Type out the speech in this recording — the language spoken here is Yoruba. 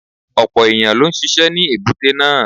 Ọ̀pọ̀ ẹ̀yàn ló ń ṣisẹ́ ní èbúté náà.